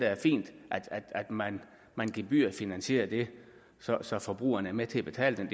er fint at man man gebyrfinansierer det så så forbrugeren er med til at betale